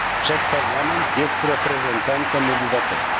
Wszak Parlament jest reprezentantem obywateli.